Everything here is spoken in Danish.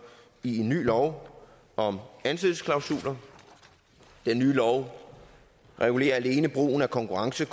i en ny lov om ansættelsesklausuler den nye lov regulerer alene brugen af konkurrence